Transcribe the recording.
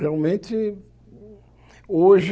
Realmente, hoje,